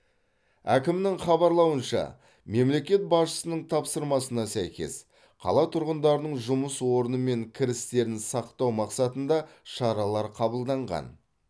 әкімнің хабарлауынша мемлекет басшысының тапсырмасына сәйкес қала тұрғындарының жұмыс орны мен кірістерін сақтау мақсатында шаралар қабылданған